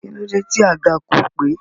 Kílódé tí àga kò pé?